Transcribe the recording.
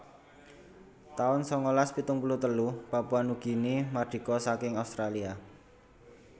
taun sangalas pitung puluh telu Papua Nugini mardika saking Australia